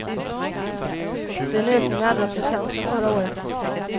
Det är en ökning med elva procent sedan förra året.